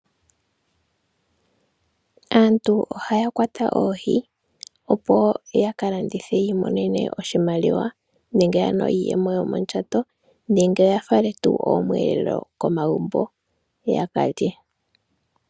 Aantu ohaya kwata oohi opoo yaka landithe yiimonene oshimaliwa, nenge ano iiyemo yomondjato nenge yafale tuu omweelelo komagumbo yakalye.